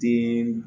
Den